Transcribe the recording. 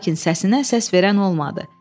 Lakin səsinə səs verən olmadı.